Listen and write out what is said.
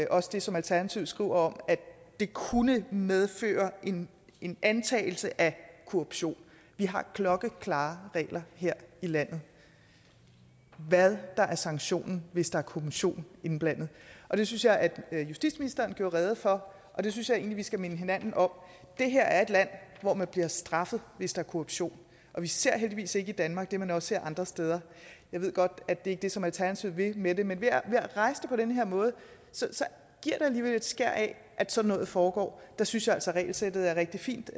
også det som alternativet skriver om at det kunne medføre en antagelse af korruption vi har klokkeklare regler her i landet for hvad der er sanktionen hvis der er kommission indblandet og det synes jeg at justitsministeren gjorde rede for og det synes jeg egentlig vi skal minde hinanden om det her er et land hvor man bliver straffet hvis der er korruption og vi ser heldigvis ikke i danmark det man også ser andre steder jeg ved godt at det ikke er det som alternativet vil med det men ved at rejse det på den her måde giver det alligevel et skær af at sådan noget foregår der synes jeg altså regelsættet er rigtig fint